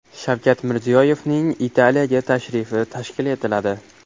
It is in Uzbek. Shavkat Mirziyoyevning Italiyaga tashrifi tashkil etiladi.